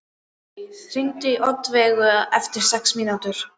Mánadís, hringdu í Oddveigu eftir sex mínútur.